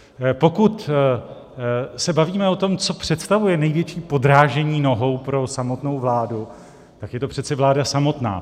Pokud se bavíme o tom, co představuje největší podrážení nohou pro samotnou vládu, tak je to přece vláda samotná.